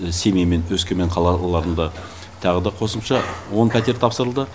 семей мен өскемен қалаларында тағы да қосымша он пәтер тапсырылды